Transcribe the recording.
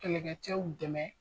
Kɛlɛkcɛw dɛmɛ